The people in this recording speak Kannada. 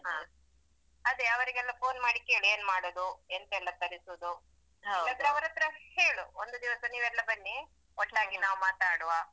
ಹಾ ಅದೆ ಅವರಿಗೆಲ್ಲ phone ಮಾಡಿ ಕೇಳು ಏನ್ ಮಾಡುದು ಎಂತೆಲ್ಲ ತರಿಸುದು ಇಲ್ಲಾದ್ರೆ ಅವರತ್ರ ಹೇಳು ಒಂದು ದಿವಸ ನೀವೆಲ್ಲ ಬನ್ನಿ ಒಟ್ಟಾಗಿ ನಾವು ಮಾತಾಡುವ.